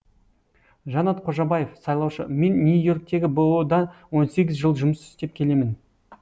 жанат қожабаев сайлаушы мен нью и орктегі бұұ да он сегіз жыл жұмыс істеп келемін